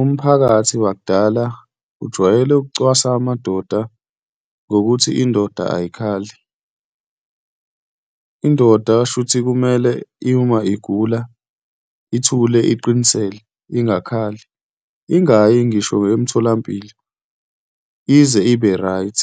Umphakathi wakudala ujwayele ukucwasa amadoda ngokuthi, indoda ayikhali. Indoda kusho ukuthi kumele uma igula, ithule, iqinisele, ingakhali, ingayi ngisho emtholampilo ize ibe-right